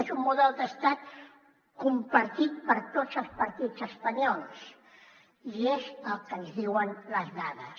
és un model d’estat compartit per tots els partits espanyols i és el que ens diuen les dades